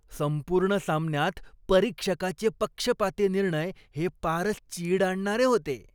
संपूर्ण सामन्यात परीक्षकाचे पक्षपाती निर्णय हे पारच चीड आणणारे होते.